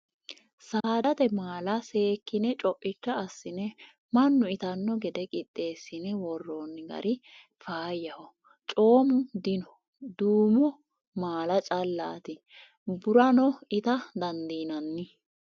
Saadate maala seekkine coicha assine mannu ittano gede qixeesine woronni gari faayyaho comu dino duumo maala callati burano itta dandiinanni.